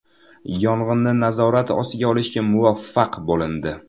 Yong‘inni nazorat ostiga olishga muvaffaq bo‘lindi.